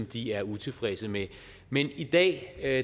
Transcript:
de er utilfredse med men i dag er